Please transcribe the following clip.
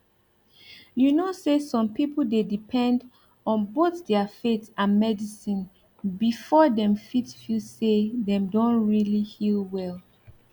you know say some people dey depend on both their faith and medicine before dem fit feel say dem don really heal well